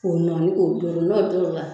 Ko nɔni k'o dori n'o dori la